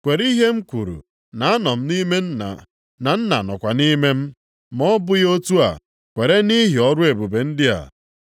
Kwere ihe m kwuru na anọ m nʼime Nna, na Nna nọkwa nʼime m. Ma ọ bụghị otu a, kwerenụ nʼihi ọrụ ebube ndị a.